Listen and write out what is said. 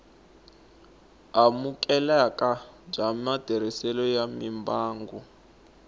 amukeleka bya matirhiselo ya mimbangu